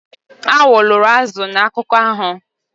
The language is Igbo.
Awọ loro azụ na akụkọ ahụ